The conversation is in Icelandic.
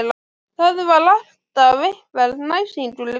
Það var alltaf einhver æsingur í kringum þá.